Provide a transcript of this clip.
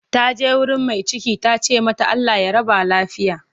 Ta je wurin mai cikin ta ce mata 'Allah ya raba lafiya'